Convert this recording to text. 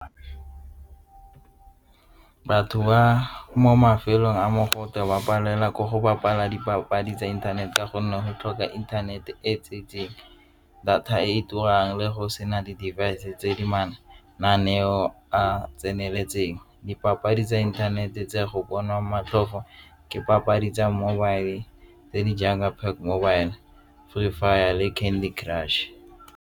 Batho ba mo mafelong a mogote wa palelwa ke go bapala dipapadi tsa inthanete ka gonne go tlhoka internet-e e tsentseng data e turang le go sena le device tse di mananeo a tseneletseng. Dipapadi tsa inthanete tse go bonwa matlhofo ke papadi tsa mobile tse di jaaka Pac mobile, Free Fire le Candy Crush.